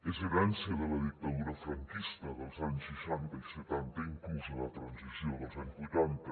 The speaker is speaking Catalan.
és herència de la dictadura franquista dels anys seixanta i setanta inclús de la transició dels anys vuitanta